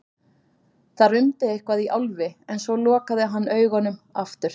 Það rumdi eitthvað í Álfi en svo lokaði hann augunum aftur.